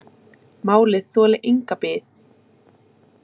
Málið þoli enga bið